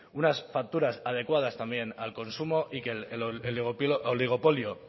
unas facturas adecuadas también al consumo y que el oligopolio